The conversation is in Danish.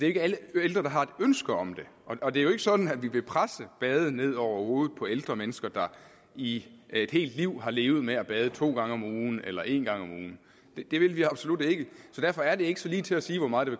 ikke alle ældre der har et ønske om det og det er jo ikke sådan at vi vil presse bade ned over hovedet på ældre mennesker der i et helt liv har levet med at bade to gange om ugen eller en gang om ugen det vil vi absolut ikke så derfor er det ikke så ligetil at sige hvor meget